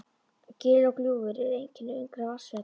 Gil og gljúfur eru einkenni ungra vatnsfalla.